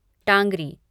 Tangri